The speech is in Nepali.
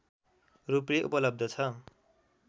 रूपले उपलब्ध छ